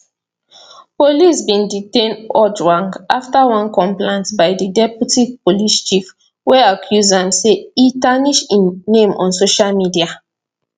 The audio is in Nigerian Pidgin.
police bin detain ojwang afta one complaint by di deputy police chief wey accuse am say e tarnish im name on social media